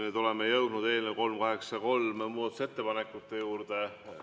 Nüüd oleme jõudnud eelnõu 383 muudatusettepanekute juurde.